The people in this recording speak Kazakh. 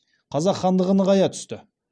қазақ хандығы нығайа түсті